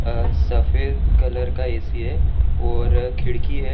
अ सफेद कलर का ए_सी है और खिड़की है।